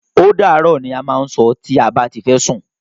Ódàárọ̀! ni a má ń sọ tí a bá ti fẹ́ lọ sún.